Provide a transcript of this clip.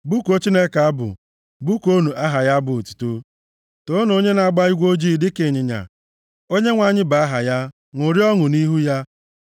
Bụkuo Chineke abụ, bụkuonụ aha ya abụ otuto, toonu onye na-agba igwe ojii dịka ịnyịnya, Onyenwe anyị bụ aha ya, ṅụrịa ọṅụ nʼihu ya.